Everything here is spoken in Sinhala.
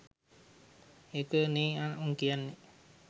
ඒක නෙ උන් කියන්නෙ